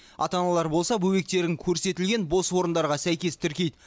ата аналар болса бөбектерін көрсетілген бос орындарға сәйкес тіркейді